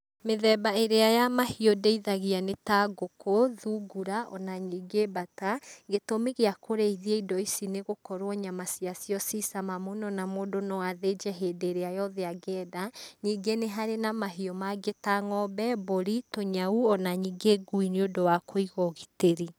Mĩthemba ĩrĩa ya mahiũ ndĩithagia nĩ ta ngũkũ, thungura o na ningĩ mbata. Gĩtũmi gĩa kũrĩithia indo ici nĩ gũkorwo nyama cia cio ciĩ cama mũno na mũndũ no athĩnje hĩndĩ ĩrĩa yothe angĩenda. Ningĩ nĩ harĩ na mahiũ mangĩ ta ng'ombe, mbũri, tũnyau o na ningĩ ngui nĩ ũndũ wa kũiga ũgitĩri.